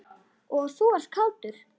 Og þú ert kátur.